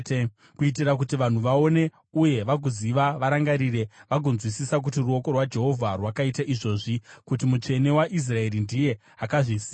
kuitira kuti vanhu vaone uye vagoziva, varangarire vagonzwisisa, kuti ruoko rwaJehovha rwakaita izvozvi, kuti Mutsvene waIsraeri ndiye akazvisika.